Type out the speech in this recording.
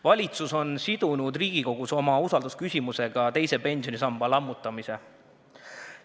Valitsus on sidunud Riigikogus oma usaldusküsimusega teise pensionisamba lammutamise.